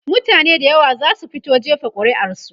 mutane da yawa zasu fito jefa ƙuri'ar su